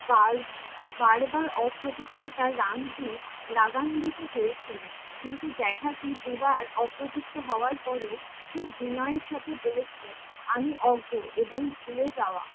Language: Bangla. বার বার বার অপবিত্রতার রামজী রাগান্নিত হয়েছিলেন। কিন্তু জেঠাজী দুবার অপবৃত্ত হওয়ার পরেও খুব বিনয়ের সাথে বলেছিলেন, আমি অজ্ঞ এবং ভুলে যাওয়া